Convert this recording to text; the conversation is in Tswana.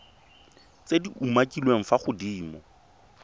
tse di umakiliweng fa godimo